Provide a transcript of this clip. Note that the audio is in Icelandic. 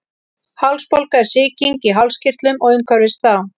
hálsbólga er sýking í hálskirtlum og umhverfis þá